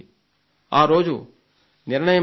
ఆ రోజు నిర్ణయం జరిగింది